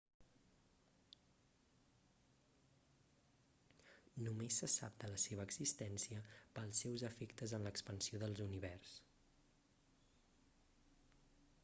només se sap de la seva existència pels seus efectes en l'expansió de l'univers